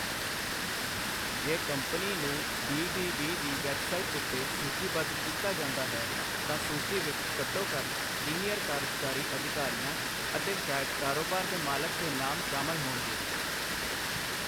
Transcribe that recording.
ਜੇ ਕੰਪਨੀ ਨੂੰ B. B. B. ਦੀ ਵੈੱਬਸਾਈਟ ਉੱਤੇ ਸੂਚੀਬੱਧ ਕੀਤਾ ਜਾਂਦਾ ਹੈ, ਤਾਂ ਸੂਚੀ ਵਿੱਚ ਘੱਟੋ ਘੱਟ ਸੀਨੀਅਰ ਕਾਰਜਕਾਰੀ ਅਧਿਕਾਰੀਆਂ ਅਤੇ ਸ਼ਾਇਦ ਕਾਰੋਬਾਰ ਦੇ ਮਾਲਕ ਦੇ ਨਾਮ ਸ਼ਾਮਲ ਹੋਣਗੇ।